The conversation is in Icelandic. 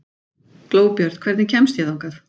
Glóbjört, hvernig kemst ég þangað?